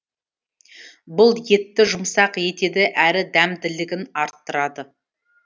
бұл етті жұмсақ етеді әрі дәмділігін арттырады